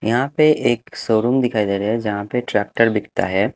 यहाँ पे एक शोरूम दिखाई दे रहा हैजहाँ पे ट्रैक्टर बिकता है।